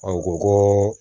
An ko ko